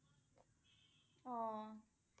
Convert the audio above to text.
অ' ঠিকে।